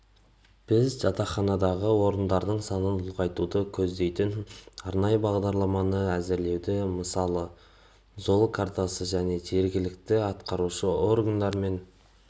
біз жатақханадағы орындардың санын ұлғайтуды көздейтін арнайы бағдарламаны әзірлеуді мысалы жол картасы және жергілікті атқарушы органдармен